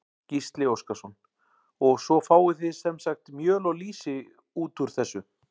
Gísli Óskarsson: Og svo fáið þið sem sagt mjöl og lýsi út úr þessu?